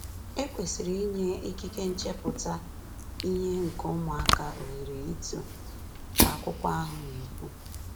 “E kwesịrị inye ikike nchepụta ihe nke ụmụaka ohere ito,” ka akụkọ ahụ na-ekwu.